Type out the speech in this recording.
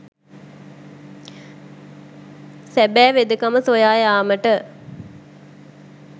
සැබෑ වෙදකම සොයා යාමට